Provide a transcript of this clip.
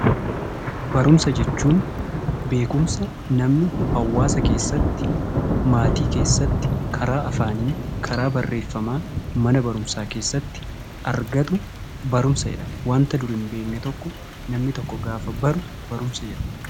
Beekumsa jechuun barumsa namni hawaasa keessatti maatii keessatti karaa afaanii karaa barreeffamaa mana barumsaa keessatti argatu barumsa jedhama. Wanta dura hin beekne tokko namni tokko gaafa baru barumsa jedhama.